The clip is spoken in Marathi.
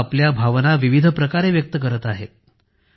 लोक आपल्या भावनांना विविध प्रकारे व्यक्त करत आहेत